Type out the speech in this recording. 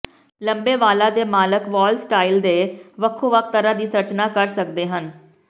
ਲੰਬੇ ਵਾਲਾਂ ਦੇ ਮਾਲਕ ਵਾਲ ਸਟਾਈਲ ਦੇ ਵੱਖੋ ਵੱਖ ਤਰ੍ਹਾਂ ਦੀ ਸੰਰਚਨਾ ਕਰ ਸਕਦੇ ਹਨ